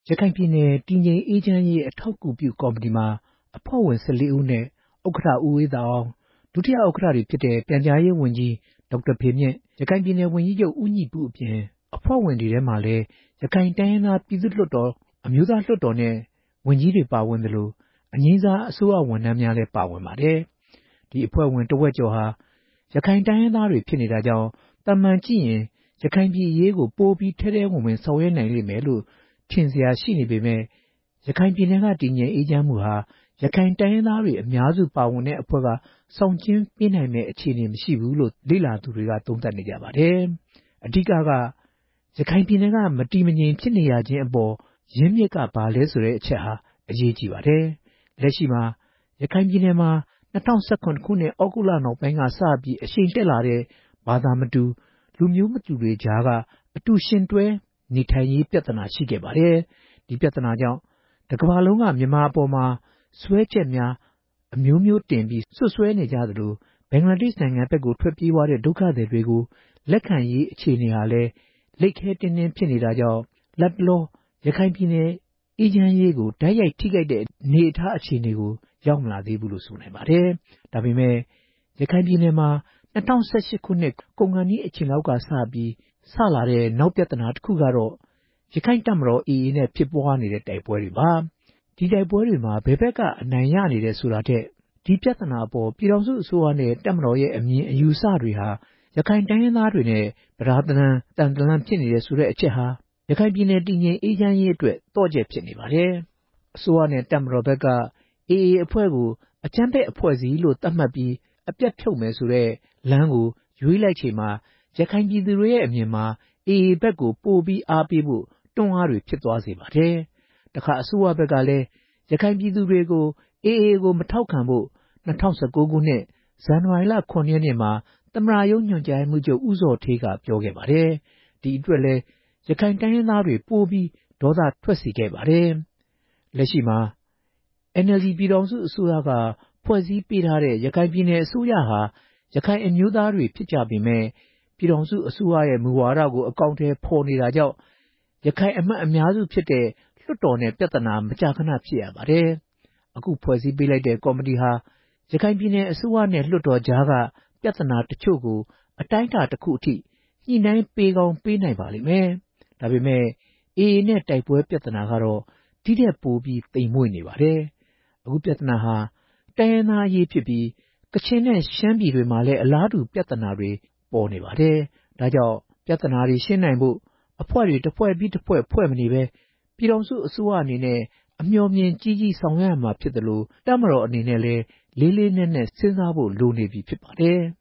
ရခိုင်ပြည်နယ် တည်ငြိမ်အေးချမ်းရေး အထောက်အကူပြုကော်မတီမှာ အဖွဲ့ဝင် ၁၄ဦးအနက် ဥက္ကဋ္ဌ ဦးအေးသာအောင်၊ ဒုတိယ ဥက္ကဋ္ဌများ ဖြစ်တဲ့ ပြန်ကြားရေးဝန်ကြီး ဒေါက်တာဖေမြင့်၊ ရခိုင်ပြည်နယ်ဝန်ကြီးချုပ် ဦးညီပုတို့အပြင် အဖွဲ့ဝင်တွေထဲမှာလည်း ရခိုင်တိုင်းရင်းသား ပြည်သူ့လွှတ်တော်၊ အမျိုးသားလွှတ်တော်နဲ့ ဝန်ကြီးတွေ ပါဝင်သလို အငြိမ်းစား အစိုးရဝန်ထမ်းများလည်း ပါဝင်ပါတယ်။ ဒီအဖွဲ့ဝင် တဝက်ကျော်ဟာ ရခိုင်တိုင်းရင်းသားတွေ ဖြစ်နေတာကြောင့် သာမန်ကြည့်ရင် ရခိုင်ပြည်နယ်အရေးကို ပိုပြီး ထဲထဲဝင်ဝင် ဆောင်ရွက်နိုင်မယ်လို့ ထင်စရာရှိနေပေမယ့် ရခိုင်ပြည်နယ်က တည်ငြိမ်အေးချမ်းမှုဟာ ရခိုင် တိုင်းရင်းသားတွေ အများစုပါဝင်တဲ့အဖွဲ့က ဆောင်ကျဉ်းပေးနိုင်မယ့် အခြေအနေမရှိဘူးလို့ လေ့လာသူတွေက သုံးသပ်နေကြပါတယ်။ အဓိက ကတော့ ရခိုင်ပြည်နယ်က မတည်မငြိမ်ဖြစ်နေရခြင်းအပေါ် ရင်းမြစ်က ဘာလဲဆိုတဲ့အချက်ဟာ အရေးကြီးပါတယ်။ လက်ရှိမှာ ရခိုင်ပြည်နယ်မှာ ၂ဝ၁၇ခုနှစ် သြဂုတ်လ နောက်ပိုင်းက စပြီး အရှိန်တက်လာတဲ့ ဘာသာမတူ လူမျိုးမတူတွေကြား အတူယှဉ်တွဲနေထိုင်ရေး ပြဿနာ ရှိခဲ့ပါတယ်။ ဒါပေမယ့် ဒီပြဿနာကြောင့် တစ်ကမ္ဘာလုံးက မြန်မာအပေါ် စွဲချက်များ အမျိုးမျိုးတင်ပြီး စွပ်စွဲနေကြသလို ဘင်္ဂလားဒေ့ရှ်နိုင်ငံဘက် ထွက်ပြေးသွားတဲ့ ဒုက္ခသည်တွေကို လက်ခံရေးအခြေအနေဟာလည်း လိပ်ခဲတင်းတင်း ဖြစ်နေတာကြောင့် လတ်တလော ရခိုင်ပြည်နယ် အေးချမ်းရေးကို တိုက်ရိုက်ထိခိုက်တဲ့ အနေအထား အခြေအနေကို ရောက်မလာသေးဘူးလို့ ဆိုနိုင်ပါတယ်။ ဒါပေမယ့် ရခိုင်ပြည်နယ်မှာ ၂ဝ၁၈ ကုန်ခါနီး အချိန်လောက်ကမှ စလာတဲ့ နောက်ပြဿနာတခုကတော့ ရခိုင်တပ်မတော် AA နဲ့ ဖြစ်ပွားနေတဲ့ တိုက်ပွဲတွေပါ။ ဒီတိုက်ပွဲမှာ ဘယ်ဘက်က အနိုင်ရနေတယ် ဆိုတာထက်၊ ဒီပြဿနာအပေါ် ပြည်ထောင်စုအစိုးရနဲ့ တပ်မတော်ရဲ့ အမြင်အယူအဆတွေဟာ ရခိုင်တိုင်းရင်းသားတွေနဲ့ ပြဒါးတလမ်း သံတလမ်း ဖြစ်နေတယ်ဆိုတဲ့ အချက်ဟာ ရခိုင်ပြည်နယ် တည်ငြိမ်အေးချမ်းရေးအတွက် သော့ချက်ဖြစ်နေပါတယ်။ အစိုးရနဲ့ တပ်မတော်ဖက်က AA အဖွဲ့ကို အကြမ်းဖက်အဖွဲ့အစည်းလို့ သတ်မှတ်ပြီး အပြတ်ဖြုတ်မယ်ဆိုတဲ့လမ်းကို ရွေးလိုက်ချိန်မှာ ရခိုင်ပြည်သူတွေရဲ့ အမြင်မှာ AA ဖက်ကို ပိုပြီး အားပေးဖို့ တွန်းအားတွေ ဖြစ်သွားစေပါတယ်။ တခါ အစိုးရဖက်ကလည်း ရခိုင်ပြည်သူတွေကို AA ကို မထောက်ခံဖို့ ၂ဝ၁၉ ဇန်နဝါရီလ ၇ရက်နေ့မှာ သမ္မတရုံး ညွှန်ကြားရေးမှူးချုပ် ဦးဇော်ဌေးက ပြောခဲ့ပါတယ်။ ဒီအတွက်လည်း ရခိုင်တိုင်းရင်းသားတွေကို ပိုပြီး ဒေါသထွက်စေခဲ့ပါတယ်။ လက်ရှိမှာ NLD ပြည်ထောင်စုအစိုးရက ဖွဲ့စည်းပေးထားတဲ့ ရခိုင်ပြည်နယ်အစိုးရဟာ ရခိုင်အမျိုးသားတွေ ဖြစ်ကြပေမယ့်၊ ပြည်ထောင်စုအစိုးရရဲ့ မူဝါဒကို အကောင်အထည်ဖော်နေတာကြောင့် ရခိုင်အမတ်တွေ အများစုဖြစ်တဲ့ လွှတ်တော်နဲ့ ပြဿနာ မကြာခဏဖြစ်ရပါတယ်။ အခုဖွဲ့စည်းပေးလိုက်တဲ့ ကော်မတီဟာ ရခိုင်ပြည်နယ်အစိုးရနဲ့ လွှတ်တော်ကြားက ပြဿနာတချို့ကိုတော့ အတိုင်းအတာတစ်ခုအထိ ညှိနှိုင်းပေးကောင်းပေးနိုင်ပါလိမ့်မယ်။ ဒါပေမယ့် AA နဲ့ တိုက်ပွဲ ပြဿနာကတော့ ဒီထက်ပိုပြီး သိမ်မွေ့နေပါတယ်။ အခုပြဿနာဟာ တိုင်းရင်းသားအရေးဖြစ်ပြီး ကချင်နဲ့ ရှမ်းပြည်တွေမှာလည်း အလားတူပြဿနာတွေ ပေါ်နေပါတယ်။ ဒါကြောင့် ပြဿနာတွေ ရှင်းနိုင်ဖို့ အဖွဲ့တွေ၊ တစ်ဖွဲ့ပြီး တစ်ဖွဲ့ ဖွဲ့မနေဘဲ ပြည်ထောင်စုအစိုးရအနေနဲ့ အမျှော်အမြင်ကြီးကြီး ဆောင်ရွက်ရမှာဖြစ်သလို တပ်မတော်အနေနဲ့လည်း လေးလေးနက်နက် စဉ်းစားဖို့လိုနေပြီ ဖြစ်ပါတယ်။